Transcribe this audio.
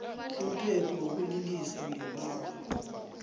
umthetho wokulilisa ngebanga